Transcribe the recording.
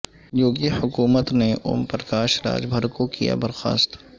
یوگی حکومت نے اوم پرکاش راج بھر کو کیا برخاست